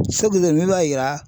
min b'a yira